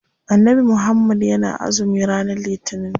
Annabi muhammad yana azumi ranar litinin.